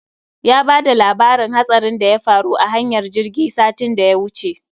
Ya bada labarin hatsarin da ya faru a hanyar jirgi satin da ya wuce.